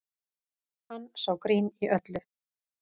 Hann sá grín í öllu